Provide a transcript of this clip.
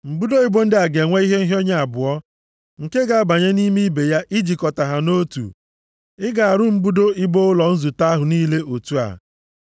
Mbudo ibo ndị a ga-enwe ihe nhịọnye abụọ nke ga-abanye nʼime ibe ya ijikọ ha nʼotu. Ị ga-arụ mbudo ibo ụlọ nzute ahụ niile otu a.